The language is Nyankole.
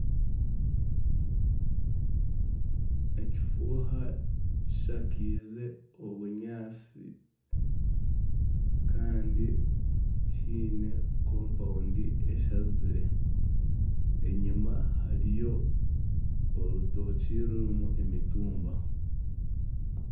Ekifuuha kishakaize obunyaatsi kandi kiine embuga eshazire. Enyima hariyo orutookye rurimu emitumba.